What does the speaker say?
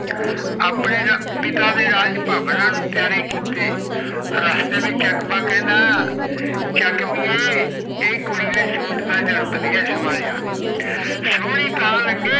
ਆਪਣੇ ਪਿਤਾ ਦੇ ਰਾਜ ਪਾਵਣਾ ਨੂੰ ਪਯਾਰੇ ਕੀਤੇ ਅਗੇ ਚਕਵਾ ਕੈਨਡਾ ਚਕਵੀ ਏ ਇਸ ਕੂੜ ਨੀ ਸੁਤ ਦਾ ਰੰਗ ਵੜਿਆ ਸਵਾਲੀਆ ਸੋਹਣੀ ਤਾਂ ਲਗੇ